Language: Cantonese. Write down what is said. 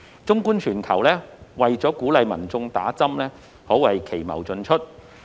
綜觀全球，為了鼓勵民眾打針，可謂奇謀盡出。